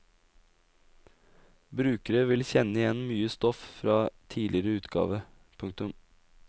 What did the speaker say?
Brukere vil kjenne igjen mye stoff fra tidligere utgave. punktum